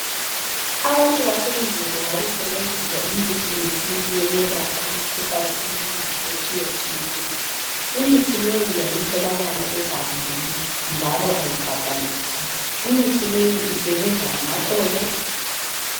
Abantu basendulo babesebenzisa imithi yesintu yokwelapha imikhuhlane eminengi, etshiyatshiyeneyo. Imithi leyi yayitholakala egangeni, njalo kayibhadaliswa. Imithi leyi isebenza ngamaxolo.